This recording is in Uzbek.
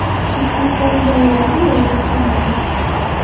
ichki ishlar idoralariga murojaat qilmaydi.